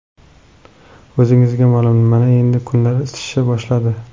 O‘zingizga ma’lum, mana endi kunlar isishni boshladi.